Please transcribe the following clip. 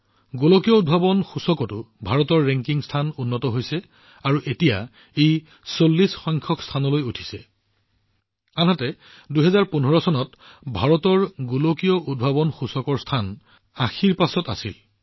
গোলকীয় উদ্ভাৱন সূচকৰ ক্ষেত্ৰতো ভাৰতৰ ৰেংকিং যথেষ্ট উন্নত হৈছে আৰু এতিয়া ই ৪০ তম স্থানত উপনীত হৈছে আনহাতে ২০১৫ চনত ভাৰত বিশ্ব উদ্ভাৱন সূচকত ৮০তম স্থানত পিছ পৰি আছিল